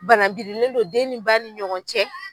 Banabirilen do den ni ba ni ɲɔgɔncɛ.